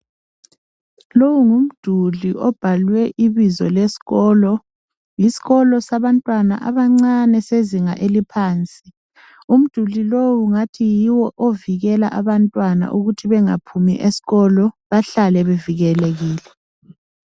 Lowu ngumduli obhalwe ibizo leskolo. Yiskolo sabantwana abancane sezinga eliphansi. Umduli lowu ungathi yiwo ovikela abantwana ukuthi bengaphumi eskolo, bahlale bevikelekile.